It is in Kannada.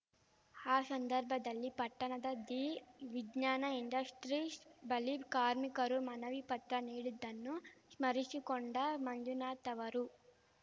ಆ ಸಂದರ್ಭದಲ್ಲಿ ಪಟ್ಟಣದ ದಿ ವಿಜ್ಞಾನ ಇಂಡಸ್ಟ್ರೀಸ್‌ ಬಳಿ ಕಾರ್ಮಿಕರು ಮನವಿ ಪತ್ರ ನೀಡಿದ್ದನ್ನು ಸ್ಮರಿಸಿಕೊಂಡ ಮಂಜುನಾಥ್‌ ಅವರು